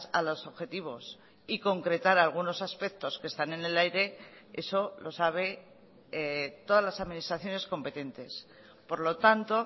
a los objetivos y concretar algunos aspectos que están en el aire eso lo sabe todas las administraciones competentes por lo tanto